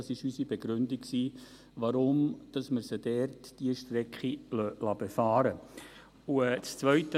Das war unsere Begründung, warum wir sie diese Strecke dort befahren lassen.